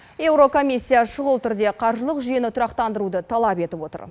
еурокомиссия шұғыл түрде қаржылық жүйені тұрақтандыруды талап етіп отыр